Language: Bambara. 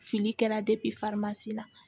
Fili kɛra farimasi la